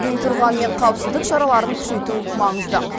дей тұрғанмен қауіпсіздік шараларын күшейту маңызды